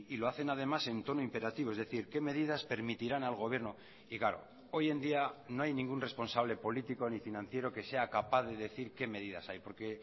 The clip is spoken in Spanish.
lo hacen además en tono imperativo es decir qué medidas permitirán al gobierno y claro hoy en día no hay ningún responsable político ni financiero que sea capaz de decir qué medidas hay porque